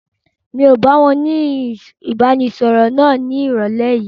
N o báwọn ni ìbánisọọ̀rọ̀ náà ni ìrọ̀lẹ́ yìí.